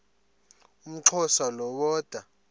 umxhosa lo woda